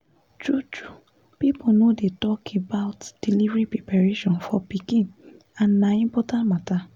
true true people no dey too talk about delivery preparation for pikin and na important matter